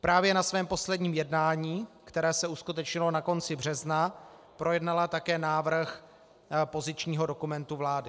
Právě na svém posledním jednání, které se uskutečnilo na konci března, projednala také návrh pozičního dokumentu vlády.